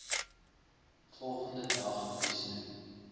volgende dag huistoe